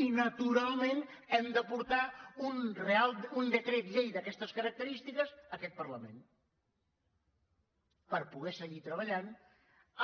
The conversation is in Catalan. i naturalment hem de portar un decret llei d’aquestes característiques a aquest parlament per poder seguir treballant